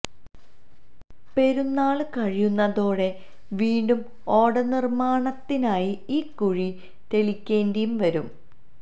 പെരുന്നാള് കഴിയുന്നതോടെ വീണ്ടും ഓട നിര്മാണത്തിനായി ഈ കുഴി തെളിക്കേണ്ടിയും വരും